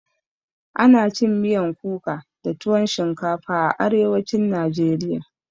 Ana cin miyan kuka da tuwon shinkafa a arewacin najeriya